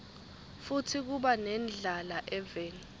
futsi kuba nendlala eveni